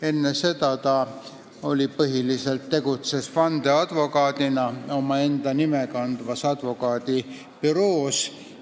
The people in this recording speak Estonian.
Enne seda tegutses ta põhiliselt vandeadvokaadina omaenda nime kandvas advokaadibüroos.